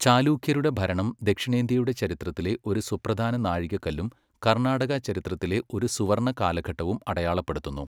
ചാലൂക്യരുടെ ഭരണം ദക്ഷിണേന്ത്യയുടെ ചരിത്രത്തിലെ ഒരു സുപ്രധാന നാഴികക്കല്ലും കർണാടക ചരിത്രത്തിലെ ഒരു സുവർണ്ണ കാലഘട്ടവും അടയാളപ്പെടുത്തുന്നു.